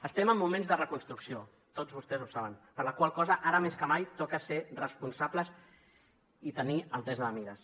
estem en moments de reconstrucció tots vostès ho saben per la qual cosa ara més que mai toca ser responsables i tenir altesa de mires